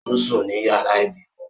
Ó ń sùn ní yàrá ìbímọ